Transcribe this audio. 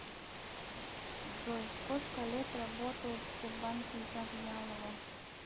джой сколько лет работает в сбербанке завьялова